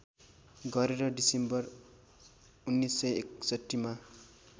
गरेर डिसेम्बर १९६१ मा